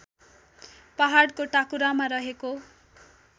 पहाडको टाकुरामा रहेको